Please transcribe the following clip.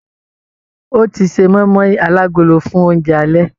Ọ́ ti ṣe mọ́ímọ́í alágolo fún oúnjẹ alẹ́.